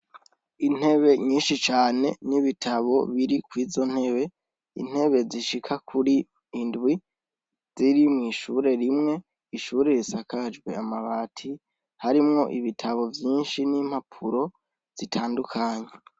Intebe nyinshi cane n'ibitabo biri kw'izontebe, intebe zishika kuri indwi, ziri mw'ishure rimwe, ishure risakajwe amabati, harimwo ibitabu vyinshi n'impapuro zitandukanye.